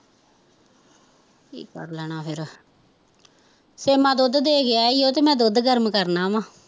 ਕੀ ਕਰ ਲੈਣਾ ਫਿਰ ਸੇਮਾ ਦੁੱਧ ਦੇ ਗਿਆ ਈ ਓ ਤੇ ਮੈਂ ਦੁੱਧ ਗਰਮ ਕਰਨਾ ਵਾਂ